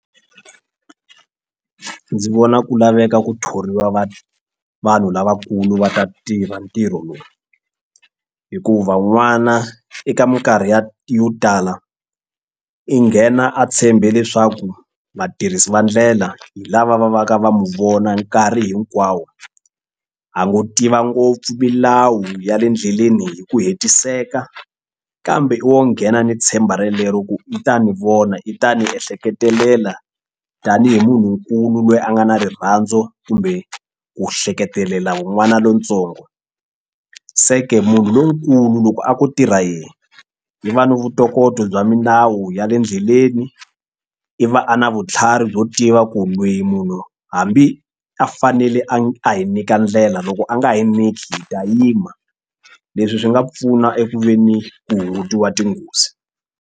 Ndzi vona ku laveka ku thoriwa va vanhu lavakulu va ta tiva ntirho lowu hikuva n'wana eka mikarhi ya yo tala i nghena a tshembe leswaku vatirhisi va ndlela hi lava va vaka va mu vona nkarhi hinkwawo a ngo tiva ngopfu milawu ya le endleleni hi ku hetiseka kambe i wo nghena ni tshemba relero ku i ta ni vona i ta ni ehleketelela tanihi munhunkulu loyi a nga na rirhandzu kumbe ku hleketelela n'wana lontsongo se ke munhu lonkulu loko a ko tirha yehe i va ni vutokoto bya milawu ya le ndleleni i va a na vutlhari byo tiva ku loyi munhu hambi a fanele a a hi nyika ndlela loko a nga hi nyiki hi ta yima leswi swi nga pfuna eku ve ni ku hungutiwa tinghozi.